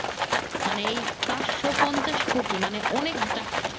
মানে এই পাচশো পঞ্চাশ কোটি মানে অনেক অনেক টাকা